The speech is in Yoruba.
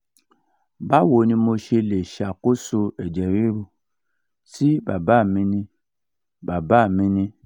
báwo ni mo ṣe lè ṣàkóso ẹ̀jẹ̀ riru tí bàbá mi ní? bàbá mi ní?